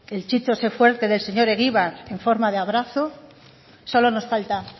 el chico sé fuerte del señor egibar en forma de abrazo solo nos falta